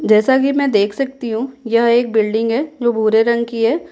जैसा कि मैं देख सकती हूँ यह एक बिल्डिंग है जो बूरे रंग की है।